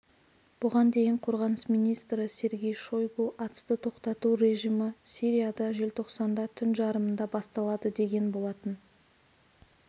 бұған дейін қорғаныс министрі сергей шойгу атысты тоқтату режимі сирияда желтоқсанда түн жарымында басталады деген болатын